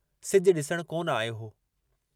सिजु डिसण कोन आयो हो।